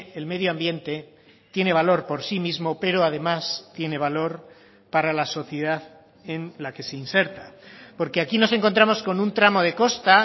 el medioambiente tiene valor por sí mismo pero además tiene valor para la sociedad en la que se inserta porque aquí nos encontramos con un tramo de costa